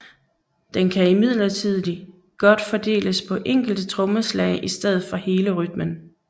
Den kan imidlertid godt fordeles på enkelte trommeslag i stedet for hele rytmen